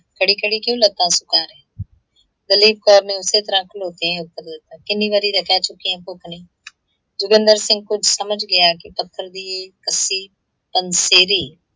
ਖੜੀ -ਖੜੀ ਕਿਓਂ ਲੱਤਾਂ ਸੁਕਾ ਰਹੀ ਹੈਂ? ਦਲੀਪ ਕੌਰ ਨੇ ਉਸੇ ਤਰ੍ਹਾਂ ਖਲੋਕੇ ਐਂ ਉਤੱਰ ਦਿੱਤਾ, ਕਿੰਨੀ ਵਾਰੀ ਤਾਂ ਕਹਿ ਚੁਕੀ ਆਂ ਭੁੱਖ ਨਹੀਂ। ਜੋਗਿੰਦਰ ਸਿੰਘ ਕੁੱਝ ਸਮਝ ਗਿਆ ਕਿ ਪੱਥਰ ਦੀ ਇਹ ਕੱਸੀ ਪੰਸੇਰੀ